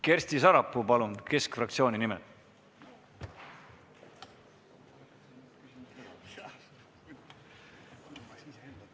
Kersti Sarapuu Keskerakonna fraktsiooni nimel, palun!